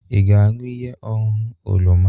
Ị ga-aṅụ ihe ọṅụṅụ oroma?